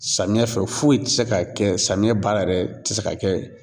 Samiya fɛ foyi ti se ka kɛ samiya baara yɛrɛ ti se ka kɛ